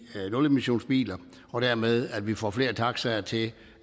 nulemissionsbiler og dermed at vi får flere taxaer til